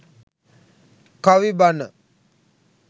kavi bana